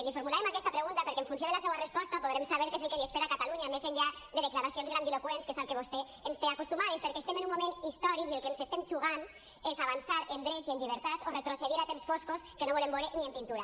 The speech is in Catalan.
li formulàvem aquesta pregunta perquè en funció de la seua resposta podrem saber què és el que li espera a catalunya més enllà de declaracions grandiloqüents que és al que vostè ens té acostumades perquè estem en un moment històric i el que ens estem jugant és avançar en drets i en llibertats o retrocedir a temps foscos que no volem veure ni en pintura